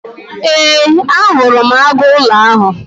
Ee, ahụrụ m agụụlọ ahụ.